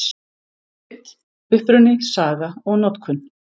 Krydd: Uppruni, saga og notkun.